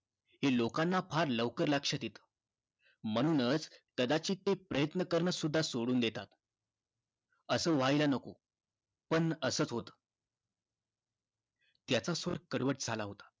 हे लोकांना फार लवकर लक्षात येतं म्हणूनच कदाचित ते प्रयत्न करणंसुद्धा सोडून देतात. असं व्हायला नको पण असंच होतं. त्याचा सूर कडवट झाला होता.